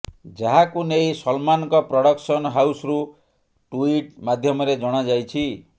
ଯାହାକୁ ନେଇ ସଲମାନଙ୍କ ପ୍ରଡକ୍ସନ ହାଉସରୁ ଟୁଇଟ ମାଧ୍ୟମରେ ଜଣାଯାଇଛି